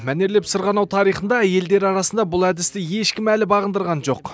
мәнерлеп сырғанау тарихында әйелдер арасында бұл әдісті ешкім әлі бағындырған жоқ